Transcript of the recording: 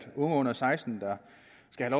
at